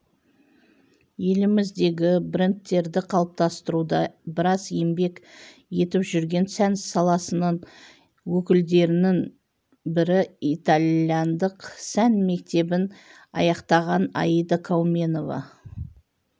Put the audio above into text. еліміздегі брендтерді қалыптастыруда біраз еңбек етіп жүрген сән саласының өкілдерінің бірі италяндық сән мектебін аяқтаған аида кауменова